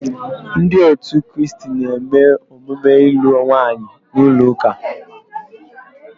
Ndi otu kristi na-eme emume ilu nwaanyi n'ulo uka